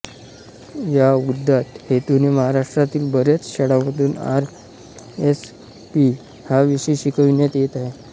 या उदात्त हेतूने महाराष्ट्रातील बऱ्याच शाळामधून आर एस पी हा विषय शिकविण्यात येत आहे